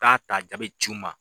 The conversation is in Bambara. K'a ta jaa bi ci n ma.